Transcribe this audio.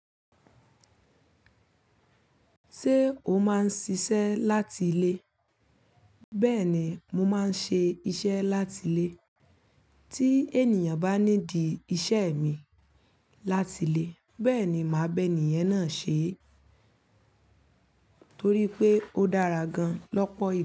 Ṣé o máa ń ṣiṣẹ́ láti ilé? Bẹẹni, mo máa ń ṣe iṣẹ́ láti ilé. Tí ènìyàn bá ní di iṣẹ́ mi láti ilé, bẹẹni máa bá ènìyàn náà ṣe é torí pé ó dára gan lọ́pọ̀